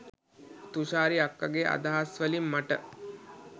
තුෂාරි අක්කගේ අදහස් වලින් මට